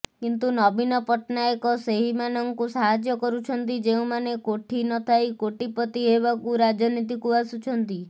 କିନ୍ତୁ ନବୀନ ପଟ୍ଟନାୟକ ସେହିମାନଙ୍କୁ ସାହାଯ୍ୟ କରୁଛନ୍ତି ଯେଉଁମାନେ କୋଠି ନଥାଇ କୋଟିପତି ହେବାକୁ ରାଜନୀତିକୁ ଆସୁଛନ୍ତି